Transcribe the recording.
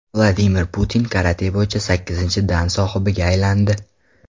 Vladimir Putin karate bo‘yicha sakkizinchi dan sohibiga aylandi.